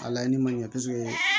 A laɲini ma ɲɛ kosɛbɛ